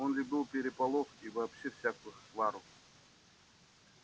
он любил переполох и вообще всякую свару